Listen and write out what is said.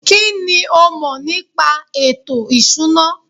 kínní o mọ̀ nípa ètò ìṣúná?